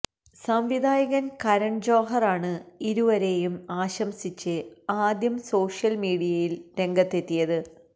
സംവിധായകന് കരണ് ജോഹര് ആണ് ഇരുവരെയും ആശംസിച്ച് ആദ്യം സോഷ്യല്മീഡിയയില് രംഗത്തെത്തിയത്